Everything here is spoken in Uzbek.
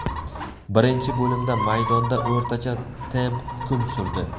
Birinchi bo‘limda maydonda o‘rtacha temp hukm surdi.